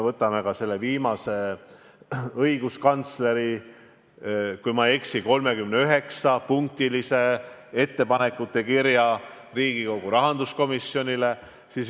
Võtame või õiguskantsleri, kui ma ei eksi, 39-punktilise ettepanekute kirja Riigikogu rahanduskomisjonile.